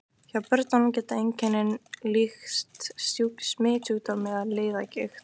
Hjá börnum geta einkennin líkst smitsjúkdómi eða liðagigt.